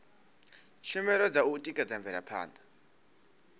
tshumelo dza u tikedza mvelaphanda